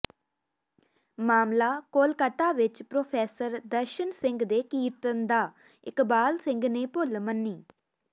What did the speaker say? ਮਾਮਲਾ ਕੋਲਕਾਤਾ ਵਿਚ ਪ੍ਰੋਫ਼ੈਸਰ ਦਰਸ਼ਨ ਸਿੰਘ ਦੇ ਕੀਰਤਨ ਦਾ ਇਕਬਾਲ ਸਿੰਘ ਨੇ ਭੁੱਲ ਮੰਨੀ